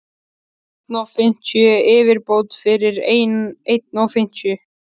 einn og fimmtíu yfirbót fyrir einn og fimmtíu.